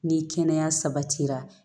Ni kɛnɛya sabatira